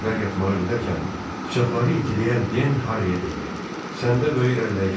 Böyüklər yatmağa gedərkən bıçaqları itiləyən Den Harviyə dedi: Səndə böyük irəliləyiş var.